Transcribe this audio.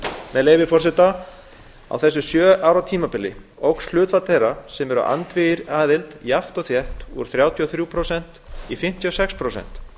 með leyfi forseta á þessu sjö ára tímabili óx hlutfall þeirra sem eru andvígir aðild jafnt og þétt úr þrjátíu og þremur prósentum í fimmtíu og sex prósent